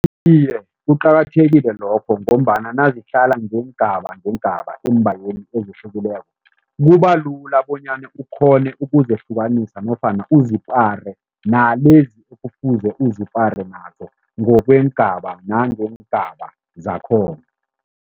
Iye, kuqakathekile lokho ngombana nazihlala ngeengaba ngeengaba endaweni ezihlukileko kubalula bonyana ukghone ukuzihlukanisa nofana uzipare nalezi ekufuze uzipare nazo ngokweengaba nangeengaba zakhona.